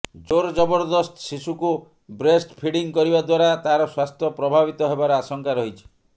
ଜୋରଜବରଦସ୍ତ ଶିଶୁକୁ breast feeding କରିବା ଦ୍ୱାରା ତାର ସ୍ୱାସ୍ଥ୍ୟ ପ୍ରଭାବିତ ହେବାର ଆଶଙ୍କା ରହିଛି